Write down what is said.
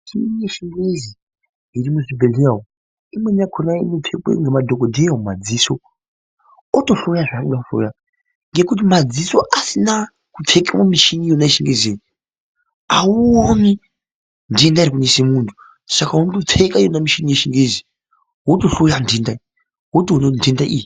Michini yechingezi irimuzvibhehleya umu imweni yakona inopfekwe ngemadhogodheya mumadziso otohloya zvaanoda kuhloya. Ngekuti madziso asina kupfeke yona michini yechingeziyo hauoni ndenda irikunese muntu. Saka unotopfeka yona michini yechingezi, wotohloya ndenda wotoona kuti ndenda iyi